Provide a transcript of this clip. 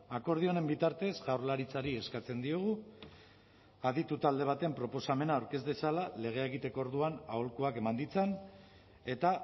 akordio honen bitartez jaurlaritzari eskatzen diogu aditu talde baten proposamena aurkez dezala legea ekiteko orduan aholkuak eman ditzan eta